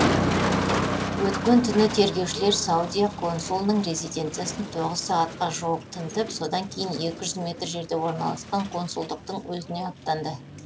өткен түні тергеушілер саудия консулының резиденциясын тоғыз сағатқа жуық тінтіп содан кейін екі жүз метр жерде орналасқан консулдықтың өзіне аттанды